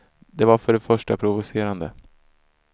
Det var för det första provocerande.